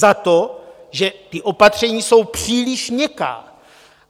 Za to, že ta opatření jsou příliš měkká.